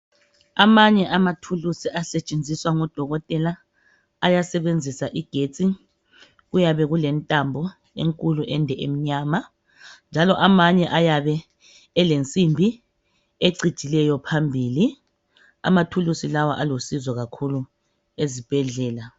Amanye amathuluzi asetshenziswa ngodokotela ayasebenzisa igetsi kuyabe kulentambo enkulu ende emnyama njalo amanye ayabe elensimbi ecijileyo phambili amathulusi lawa aulusizo kakhulu ezibhedlela.